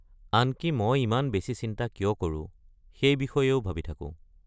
আনকি মই ইমান বেছি চিন্তা কিয় কৰো সেই বিষয়েও ভাবি থাকো।